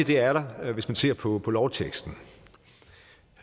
det er der hvis man ser på på lovteksten